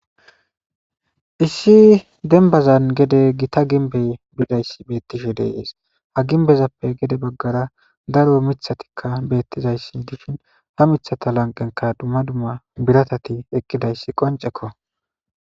Issi denbazan gede gita ginbey bizayssi bettishe deeees ha ginbezappe gede baggara daro mithatikka beettizayssi dishin ha mithata lanqenka dumma dumma biratati eqqidayssi qoncekko.